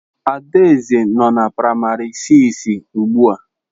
Adaeze nọ na praimari siisi ugbu a